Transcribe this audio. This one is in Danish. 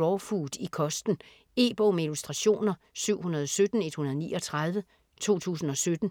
raw food i kosten. E-bog med illustrationer 717139 2017.